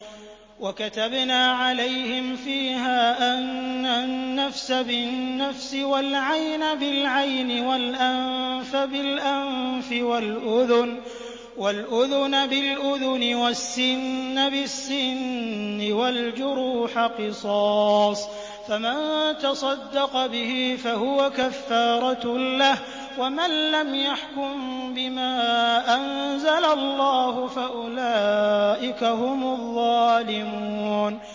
وَكَتَبْنَا عَلَيْهِمْ فِيهَا أَنَّ النَّفْسَ بِالنَّفْسِ وَالْعَيْنَ بِالْعَيْنِ وَالْأَنفَ بِالْأَنفِ وَالْأُذُنَ بِالْأُذُنِ وَالسِّنَّ بِالسِّنِّ وَالْجُرُوحَ قِصَاصٌ ۚ فَمَن تَصَدَّقَ بِهِ فَهُوَ كَفَّارَةٌ لَّهُ ۚ وَمَن لَّمْ يَحْكُم بِمَا أَنزَلَ اللَّهُ فَأُولَٰئِكَ هُمُ الظَّالِمُونَ